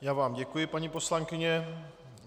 Já vám děkuji, paní poslankyně.